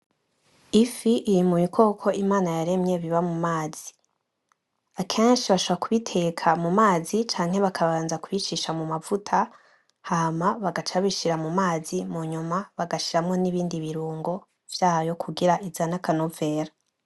Ifi iri mu bikoko Imana yaremye biba mu mazi akenshi bashobora kuyiteka mu mazi canke bakabanza kuyicisha mu mavuta hama bagaca babishira mu mazi munyuma bagashiramwo nibindi birungo vyayo kugira izane akanovera.